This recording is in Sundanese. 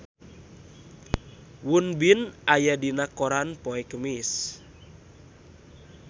Won Bin aya dina koran poe Kemis